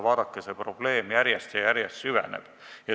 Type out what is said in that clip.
Vaadake, see probleem järjest ja järjest süveneb.